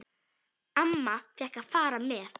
Amma fékk að fara með.